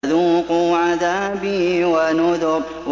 فَذُوقُوا عَذَابِي وَنُذُرِ